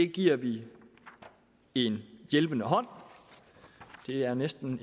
giver vi en hjælpende hånd det er næsten